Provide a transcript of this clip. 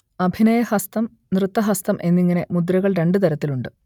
അഭിനയഹസ്തം നൃത്തഹസ്തം എന്നിങ്ങനെ മുദ്രകൾ രണ്ട് തരത്തിലുണ്ട്